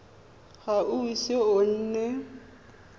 ga o ise o nne